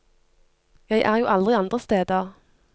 Jeg er jo aldri andre steder.